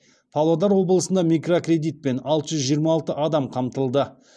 павлодар облысында микрокредитпен алты жүз жиырма алты адам қамтылды